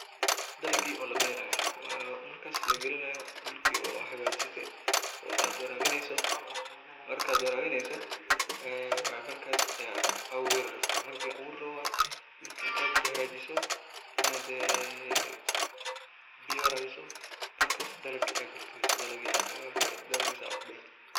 Dalagii oo la beerayaa oo markaas la gelinayo dhulkii oo ah xagajise oo aad warabineyso marka warabineyso way markas ee abuuri rabto ,marki la aburi rawo marki intaa ad hagajiso inaad ee biyo warabiso markas dalagii aad gal galiso ,dalagii asaga aha dalagiisa aa kubeerto.